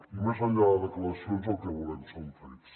i més enllà de declaracions el que volem són fets